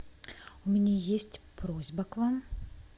у меня есть просьба к вам